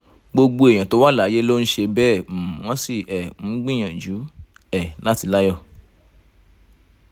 gbogbo èèyàn tó wà láyé ló ń ṣe bẹ́ẹ̀ um wọ́n sì um ń gbìyànjú um láti láyọ̀